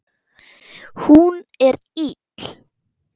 Hún er ill.